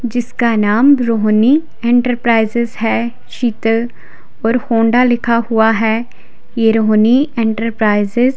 जिसका नाम रोहणी इंटरप्राइजेज है। शीतल और होंडा लिखा हुआ है। ये रोहणी इंटरप्राइजेज --